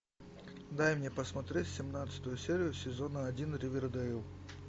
дай мне посмотреть семнадцатую серию сезона один ривердейл